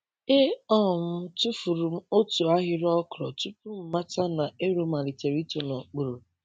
E um tufuru m otu ahịrị okra tupu m mata na ero malitere ito n’okpuru.